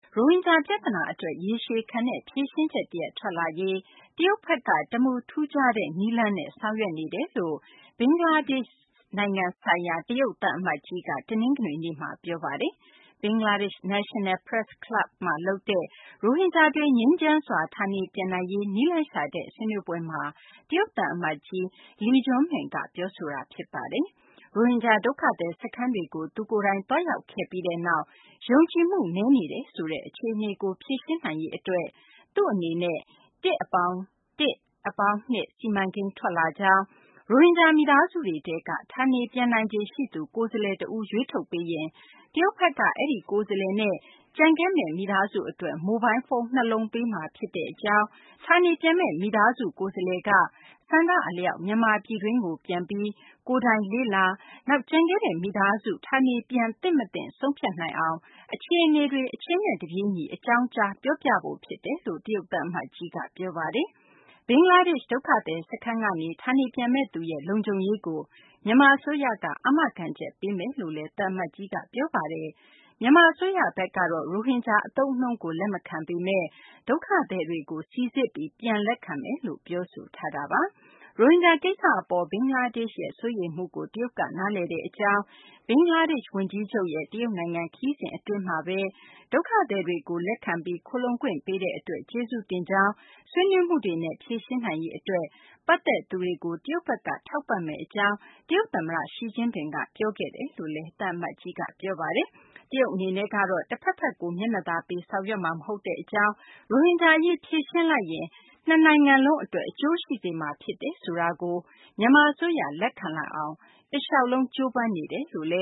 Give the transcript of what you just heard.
ရိုဟင်ဂျာပြဿနာအတွက် ရေရှည်ခံတဲ့ ဖြေရှင်းချက်တရပ် ထွက်ပေါ်လာရေး တရုတ်ဘက်က တမူထူးခြားတဲ့ နည်းလမ်းနဲ့ ဆောင်ရွက်နေတယ်လို့ ဘင်္ဂလားဒေ့ရှ်နိုင်ငံ ဆိုင်ရာ တရုတ်သံအမတ်ကြီးက တနင်္ဂနွေနေ့မှာ ပြောဆိုပါတယ်။ ဘင်္ဂလားဒေ့ရှ် National Press Club မှာလုပ်တဲ့ ရိုဟင်ဂျာတွေ ငြိမ်းချမ်းစွာ ဌာနေပြန်နိုင်ရေး နည်းလမ်းရှာတဲ့ ဆွေးနွေးပွဲမှာ တရုတ်သံအမတ်ကြီး Li Juming က ပြောဆိုသွားတာ ဖြစ်ပါတယ်။ ရိုဟင်ဂျာ ဒုက္ခသည်စခန်းတွေကို သူကိုယ်တိုင် သွားရောက်ခဲ့ပြီးနောက် ယုံကြည်မှု နည်းနေတယ်ဆိုတဲ့ အခြေအနေကို ဖြေရှင်းနိုင်ရေးအတွက် သူ့အနေနဲ့ ၁+၁+၂ စီမံကိန်း ထွက်လာကြောင်း၊ ရိုဟင်ဂျာ မိသားစုတွေထဲက ဌာနေပြန်နိုင်ခြေရှိသူ ကိုယ်စားလှယ်တဦးကို ရွေးထုတ်ပေးရင် တရုတ်ဘက်က အဲဒီကိုယ်စားလှယ်နဲ့ ကျန်ခဲ့မယ့် မိသားစုအတွက် မိုဘိုင်းဖုန်း ၂ လုံး ပေးမှာဖြစ်ကြောင်း၊ ဌာနေပြန်မယ့် မိသားစုကိုယ်စားလှယ်က ဆန္ဒအလျောက် မြန်မာပြည်တွင်းကို ပြန်ပြီး ကိုယ်တိုင် လေ့လာကြည့်ရှုပြီး ကျန်ခဲ့တဲ့မိသားစုနဲ့ ဌာနေပြန်သင့် မသင့် ဆုံးဖြတ်နိုင်အောင် အခြေအနေတွေ အချိန်နဲ့တပြေးညီ အကြောင်းကြား ပြောပြဖို့ ဖြစ်တယ်လို့ တရုတ်သံအမတ်ကြီးက ပြောပါတယ်။ ဘင်္ဂလားဒေ့ရှ် ဒုက္ခသည်စခန်းကနေ ဌာနေပြန်မယ့်သူရဲ့ လုံခြုံရေးကို မြန်မာအစိုးရက အာမခံချက်ပေးမယ်လို့လည်း သံအမတ်ကြီးက ပြောပါတယ်။ မြန်မာအစိုးရဘက်ကတော့ ရိုဟင်ဂျာ အသုံးအနှုန်းကို လက်မခံပေမယ့် ဒုက္ခသည်တွေကို စိစစ်ပြီး ပြန်လက်ခံမယ်လို့ ပြောဆိုထားတာပါ။ ရိုဟင်ဂျာကိစ္စအပေါ် ဘင်္ဂလားဒေ့ရှ်ရဲ့ စိုးရိမ်မှုကို တရုတ်က နားလည်တဲ့အကြောင်း၊ ဘင်္ဂလားဒေ့ရှ်ဝန်ကြီးချုပ် တရုတ်နိုင်ငံခရီးစဉ် အတွင်းမှာပဲ ဒုက္ခသည်တွေကို လက်ခံပြီး ခိုလှုံခွင့်ပေးတဲ့အတွက် ကျေးဇူးတင်ကြောင်း၊ ဆွေးနွေးမှုတွေနဲ့ ဖြေရှင်းနိုင်ရေးအတွက် ပတ်သက်နေသူတွေကို တရုတ်ဘက်က ထောက်ပံ့မယ့်အကြောင်း တရုတ်သမ္မတ Xi Jinping က ပြောဆိုခဲ့တယ်လို့လည်း သံအမတ်ကြီးက ပြောပါတယ်။ တရုတ်အနေနဲ့ကတော့ တဖက်ဖက်ကို မျက်နှာသာပေးပြီး ဆောင်ရွက်မှာ မဟုတ်ကြောင်း၊ ရိုဟင်ဂျာအရေး ဖြေရှင်းလိုက်ရင် နှစ်နိုင်ငံလုံးအတွက် အကျိုးရှိစေမှာ ဖြစ်တယ်ဆိုတာကို မြန်မာအစိုးရ လက်ခံလာအောင် တလျှောက်လုံး ကြိုးပမ်းနေတယ်လို့လ